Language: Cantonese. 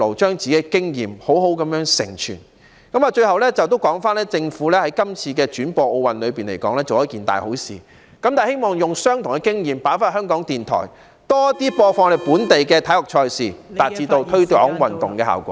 最後，政府今次轉播奧運，可說是做了一件"大好事"，我希望政府把同樣的經驗應用在香港電台，播放更多本地體育賽事......以達致推廣運動的效果。